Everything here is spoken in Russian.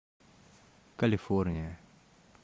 калифорния